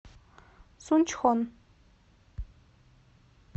сунчхон